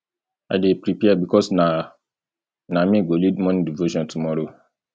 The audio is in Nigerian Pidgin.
i dey prepare because na na me go lead morning devotion tomorrow